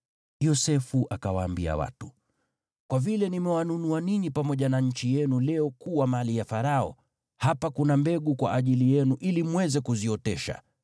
Yosefu akawaambia watu, “Kwa vile nimewanunua ninyi pamoja na nchi yenu leo kuwa mali ya Farao, hapa kuna mbegu kwa ajili yenu ili mweze kuziotesha.